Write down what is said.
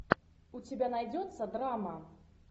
у тебя найдется драма